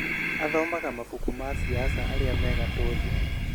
Athomaga mabuku ma siasa arĩa me gatũ thĩĩ